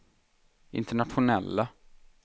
internationella